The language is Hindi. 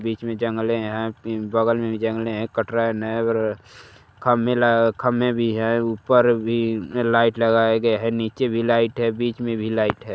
बीच में जंगले है बगल में भी जंगले है कट्रेन है खंबे भी है ऊपर भी लाइट लगाया गया है नीचे भी लाइट है बीच में भी लाइट है।